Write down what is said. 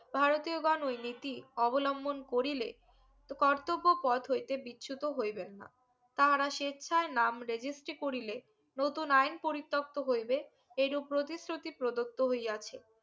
ভারতীয় বা ওইনিতি অবলম্বন করিলে তো কর্তব্য পথ হইতে বিচ্যুত হইবেন না তাহারা স্বেচ্ছায় নাম registry করিলে নতুন আইন পরিতক্ত হইবে এই রুপ প্রতিশ্রুতি প্রদত্ত হইয়াছে